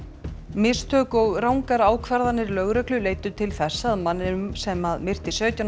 mistök og rangar ákvarðanir lögreglu leiddu til þess að manninum sem myrti sautján